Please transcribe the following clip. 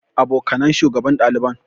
Abokanan shugaban ɗaliban.